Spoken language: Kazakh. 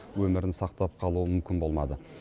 өмірін сақтап қалу мүмкін болмады